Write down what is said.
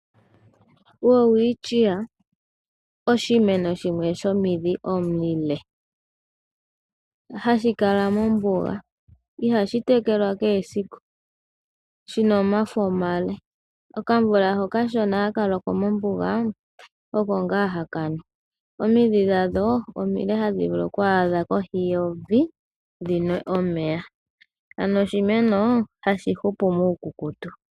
Welwichia oshimeno shimwe shomidhi omile hashi kala mombuga ihashi tekelwa kehe esiku shi na omafo omale, okamvula okashona hono haka loko mombuga oko ngaa haka nu omidhi dhadho omile hadhi vulu oku adha kohi yevi dhinwe omeya ano oshimeno hashi hupu muukukutu.